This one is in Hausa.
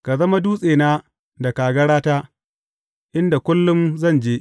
Ka zama dutsena da kagarata, inda kullum zan je.